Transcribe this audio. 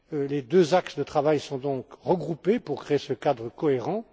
Les deux axes de travail sont donc regroupés pour créer ce cadre cohérent.